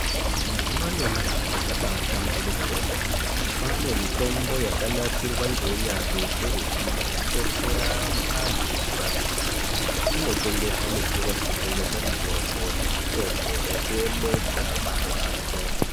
Mazuva anyamashi zviro zvabahlamborika kwemene kwaane mitombo yakanasirwa ngeunyanzvi ukurutu yekubetsera antu kurapika inotengeswe muzvitoro zvinotengeswe mitombo semitombo yekuemesa marwadzo .